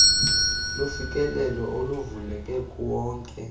lufikelelo oluvuleleke kuwonke